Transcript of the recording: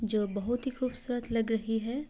जो बहुत ही खूबसूरत लग रही है।